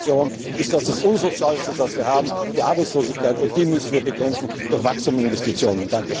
haben! Für unsere Fraktion ist es das Unsozialste, was wir haben, die Arbeitslosigkeit, und die müssen wir bekämpfen, durch Wachstum und Investitionen.